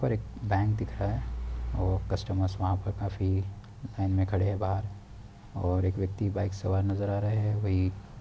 और एक बैंक दिख रहा है और कस्टमर्स वहां पर काफी लाइन में खड़े हैं बाहर और एक व्यक्ति बाइक सवार नजर आ रहा है वही --